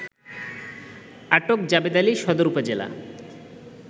আটক জাবেদআলী সদর উপজেলা